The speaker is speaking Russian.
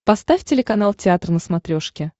поставь телеканал театр на смотрешке